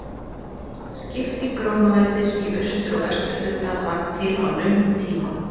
Skipting Rómaveldis í austur- og vesturhluta varð til á löngum tíma.